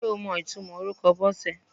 Ṣé o mọ ìtumò orúkọ Bọ́sẹ̀?